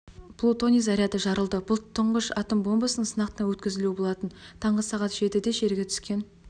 плутоний заряды жарылды бұл тұңғыш атом бомбасының сынақтан өткізілуі болатын таңғы сағат жетіде жерге түскен